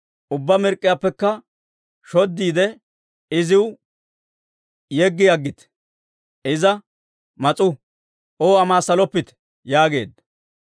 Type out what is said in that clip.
Ubbaa pochchiyaappekka shoddiide, iziw yeggi aggite; Iza mas'uu; O amaassaloppite» yaageedda.